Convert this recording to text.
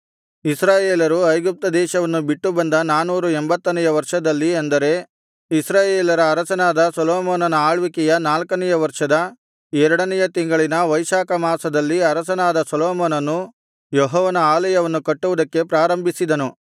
ಇಸ್ರಾಯೇಲರು ಐಗುಪ್ತದೇಶವನ್ನು ಬಿಟ್ಟುಬಂದ ನಾನೂರ ಎಂಭತ್ತನೆಯ ವರ್ಷದಲ್ಲಿ ಅಂದರೆ ಇಸ್ರಾಯೇಲರ ಅರಸನಾದ ಸೊಲೊಮೋನನ ಆಳ್ವಿಕೆಯ ನಾಲ್ಕನೆಯ ವರ್ಷದ ಎರಡನೆಯ ತಿಂಗಳಿನ ವೈಶಾಖ ಮಾಸದಲ್ಲಿ ಅರಸನಾದ ಸೊಲೊಮೋನನು ಯೆಹೋವನ ಆಲಯವನ್ನು ಕಟ್ಟುವುದಕ್ಕೆ ಪ್ರಾರಂಭಿಸಿದನು